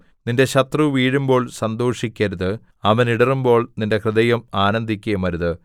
നിന്റെ ശത്രു വീഴുമ്പോൾ സന്തോഷിക്കരുത് അവൻ ഇടറുമ്പോൾ നിന്റെ ഹൃദയം ആനന്ദിക്കരുത്